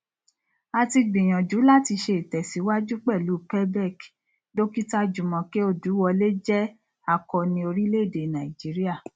a ti gbìyànjú láti ṣe ìtẹsíwájú pẹlú pebec dókítà jumoke oduwole jẹ akọni orílẹèdè nàìjíríà